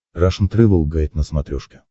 рашн тревел гайд на смотрешке